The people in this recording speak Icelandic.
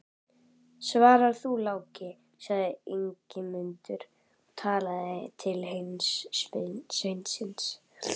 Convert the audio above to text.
Svara þú, Láki, sagði Ingimundur og talaði til hins sveinsins.